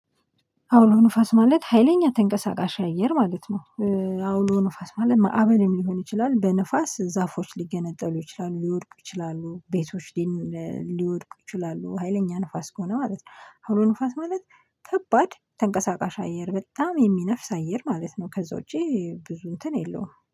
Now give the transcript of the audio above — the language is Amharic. አውሎ ንፋስ ማለት ሀይለኛ ተንቀሳቃሽ አየር ማለት ነው። አውሎ ንፋስ ማለት ማዕበልም ሊሆን ይችላል በንፋስ ዛፎች ሊገነጠሉ ይችላሉ ሊወድቁ ይችላሉ ቤቶች ሊወድቁ ይችላሉ ሀይለኛ ንፋስ ከሆነ ማለት ነው። አውሎ ንፋስ ማለት ከባድ ተንቀሳቃሽ አየር በጣም የሚነፍስ አየር ማለት ነው። ከዛ ውጪ ብዙ እንትን የለውም